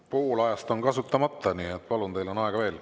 Pool ajast on kasutamata, nii et teil on aega veel.